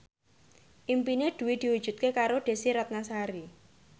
impine Dwi diwujudke karo Desy Ratnasari